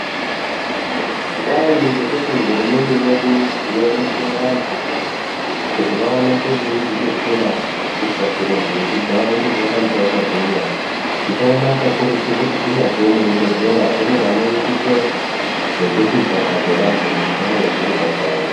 Kudai nekuti hurumende yedu yabetsere antu kuti vaoneke veizvibetsera kutwasure ndunzvi dzavo kuti varambe vakagwinya tinoona kakakurutu kuti kunyazwi muzvibhedhlera mune vanoitise zvekuti chapa dzevantu dzikare dziripandau.